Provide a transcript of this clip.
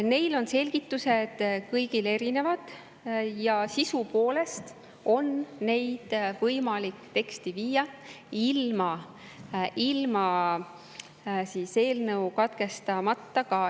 Neil on selgitused kõigil erinevad ja sisu poolest on neid võimalik teksti viia ilma eelnõu katkestamata ka.